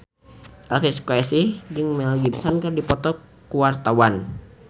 Elvi Sukaesih jeung Mel Gibson keur dipoto ku wartawan